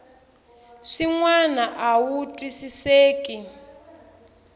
swin wana a wu twisiseki